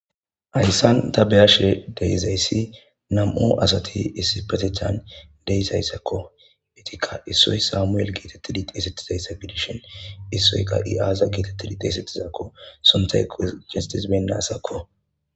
ayssan tabeyashe deizayssi nam7o asati issi petechan deizayssakko itikka issoy samuel geetettidi xteesetizayssa gidishin issoyka iaaza geetettidi xeesetizaakko sontay ko castis bendaasakko